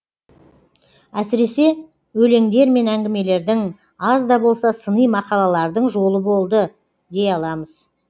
әсіресе өлеңдер мен әңгімелердің аз да болса сыни мақалалардың жолы болды дей аламыз